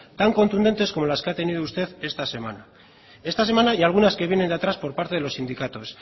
tan contundentes como las que ha tenido usted esta semana esta semana y algunas que vienen de atrás por parte de los sindicatos